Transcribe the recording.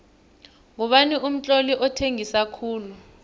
ngubani umtloli othengisa khulu